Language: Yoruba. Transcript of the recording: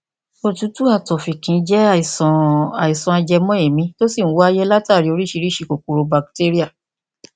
òtútù àti ọfìnkì jẹ àìsàn àìsàn ajẹmọ èémí tó sì ń wáyé látàrí oríṣiríṣi kòkòrò batéríà